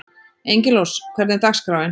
Engilrós, hvernig er dagskráin?